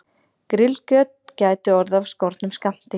Grillkjöt gæti orðið af skornum skammti